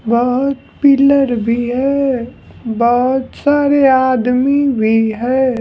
बहुत पिलर भी है बहुत सारे आदमी भी है।